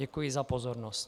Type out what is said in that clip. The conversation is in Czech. Děkuji za pozornost.